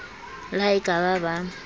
le ha e ka ba